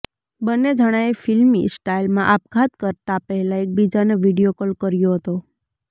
બંને જણાએ ફિલ્મી સ્ટાઈલમાં આપઘાત કરતા પહેલા એકબીજાને વીડિયો કોલ કર્યો હતો